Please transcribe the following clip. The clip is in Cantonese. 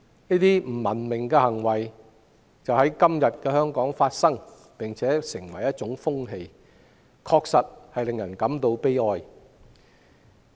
這些不文明的行為正在香港發生，而且成為一種風氣，確實令人感到悲哀。